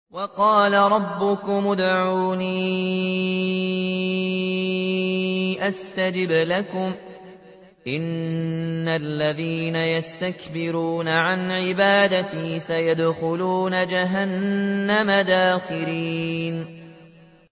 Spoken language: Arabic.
وَقَالَ رَبُّكُمُ ادْعُونِي أَسْتَجِبْ لَكُمْ ۚ إِنَّ الَّذِينَ يَسْتَكْبِرُونَ عَنْ عِبَادَتِي سَيَدْخُلُونَ جَهَنَّمَ دَاخِرِينَ